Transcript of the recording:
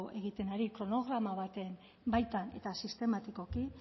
egiten ari kronograma baten baitan eta sistematikoki